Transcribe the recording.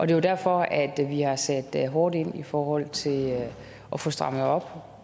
det er derfor at vi har sat hårdt ind i forhold til at få strammet op